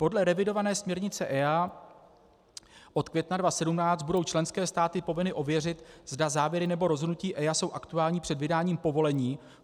Podle revidované směrnice EIA od května 2015 budou členské státy povinny ověřit, zda závěry nebo rozhodnutí EIA jsou aktuální před vydáním povolení.